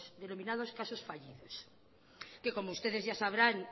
denominados casos fallidos como ustedes ya sabrán